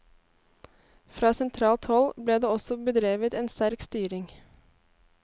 Fra sentralt hold ble det også bedrevet en sterk styring.